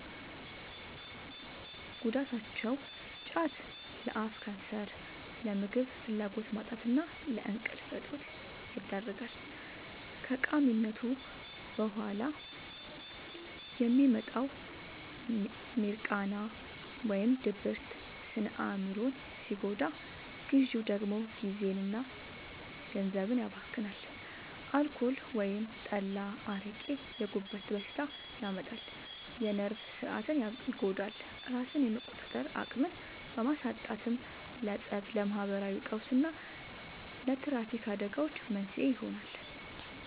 ጉዳታቸው፦ ጫት፦ ለአፍ ካንሰር፣ ለምግብ ፍላጎት ማጣትና ለእንቅልፍ እጦት ይዳርጋል። ከቃሚነቱ በኋላ የሚመጣው «ሚርቃና» (ድብርት) ስነ-አእምሮን ሲጎዳ፣ ግዢው ደግሞ ጊዜና ገንዘብን ያባክናል። አልኮል (ጠላ፣ አረቄ)፦ የጉበት በሽታ ያመጣል፣ የነርቭ ሥርዓትን ይጎዳል፤ ራስን የመቆጣጠር አቅምን በማሳጣትም ለፀብ፣ ለማህበራዊ ቀውስና ለትራፊክ አደጋዎች መንስኤ ይሆናል።